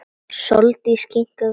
Sóldís kinkaði kolli.